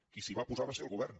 qui s’hi va posar va ser el govern